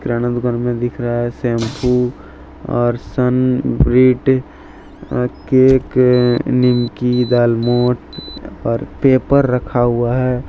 हमें इधर में दिख रहा है शैंपू और सन ब्रीड अ केकें निमकी दालमोठ और पेपर रखा हुआ है।